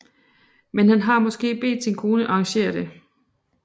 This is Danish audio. Men han har måske bedt sin kone arrangere det